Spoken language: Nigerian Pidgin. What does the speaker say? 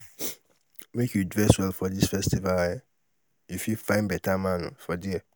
make you dress well for di festival um you fit find beta man for there.